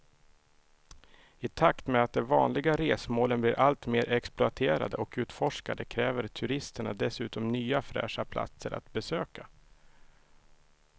I takt med att de vanliga resmålen blir allt mer exploaterade och utforskade kräver turisterna dessutom nya fräscha platser att besöka.